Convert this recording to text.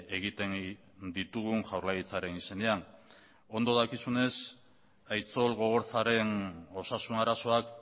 egiten ditugun jaurlaritzaren izenean ondo dakizunez aitzol gogorzaren osasun arazoak